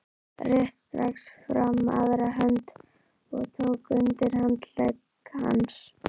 Rétti strax fram aðra höndina og tók undir handlegg hans.